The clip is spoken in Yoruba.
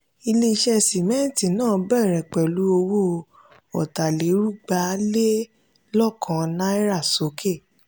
ile-iṣẹ́ sìmẹ́ǹtì náà bẹ̀rẹ̀ pẹ̀lú owó ọ̀tàlérúgba lè lọ́kan náírà sókè.